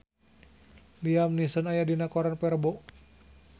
Liam Neeson aya dina koran poe Rebo